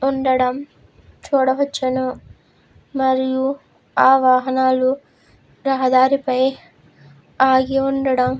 ఉండడం చూడవచ్చును. మరియు ఆ వాహనాలు రహదారిపై ఆగి ఉండడం--